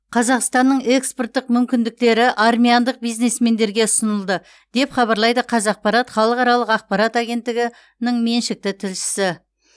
қазақстанның экспорттық мүмкіндіктері армяндық бизнесмендерге ұсынылды деп хабарлайды қазақпарат халықаралық ақпарат агенттігінің меншікті тілшісі